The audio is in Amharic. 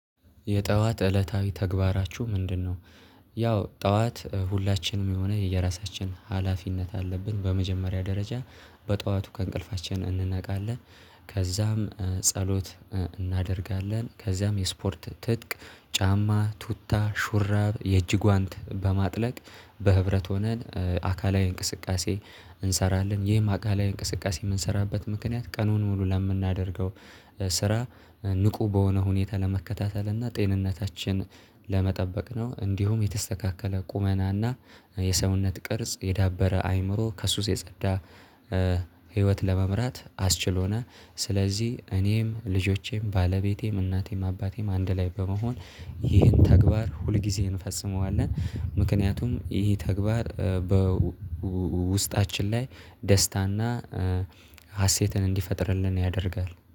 የጠዋት እለታዊ ተግባራችሁ ምንድነው? ያው ጠዋት ሁላችንም የሆነ የየራሳችን ሀላፊነት አለብን በመጀመሪያ ደረጃ በጧቱ ከእንቅልፋችን እንነቃለን። ከዛም ጸሎት እናደርጋለን ከዚያም የስፖርት ትጥቅ ጫማ ቱታ ሹራብ የእጅ ጓንት በማጥለቅ በህብረት ሆነን አካላዊ እንቅስቃሴ እንሰራለን ይህም አካላዊ እንቅስቃሴ የምንሰራበት ምክንያት ቀኑን ሙሉ ለምናደርገው ስራ ንቁ በሆነ ሁኔታ ለመከታተል እና ጤንነታችን ለመጠበቅ ነው። እንዲሁም የተስተካከለ ቁመናና የሰውነት ቅርጽ የዳበረ አይምሮ ከሱስ የጸዳ ህይወት ለመምራት አስችሎናል። ስለዚህ እኔም ልጆቼም ባለቤቴም እናቴም አባቴም አንድ ላይ በመሆን ይህን ተግባር ሁልጊዜ እንፈጽመዋለን። ምክንያቱም ይሄ ተግባር በውስጣችን ላይ ደስታና ሀሴትን እንዲፈጥርልን ያደርጋል